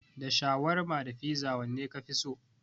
Da shawarma da fiza wanne kafi so?